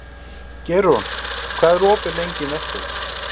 Geirrún, hvað er opið lengi í Nettó?